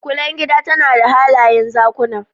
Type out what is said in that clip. Kulen gida tana da halayen Zakuna